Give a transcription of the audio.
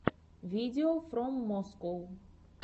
видеофроммоскоу